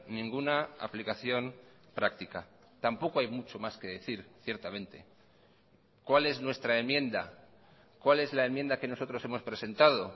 ninguna aplicación práctica tampoco hay mucho más que decir ciertamente cuál es nuestra enmienda cuál es la enmienda que nosotros hemos presentado